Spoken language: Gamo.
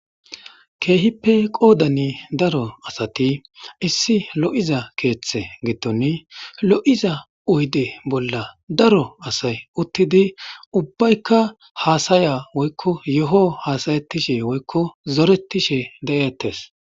keehippe qoodani daro asati issi lo7iza keeththe gittoni lo7iza oyde bolla daro asay uttidi ubbaykka haasaya woykko yoho haasayetishe woykko zoretishe de7ettes.